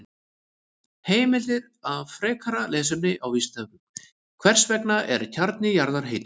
Heimildir og frekara lesefni á Vísindavefnum: Hvers vegna er kjarni jarðar heitur?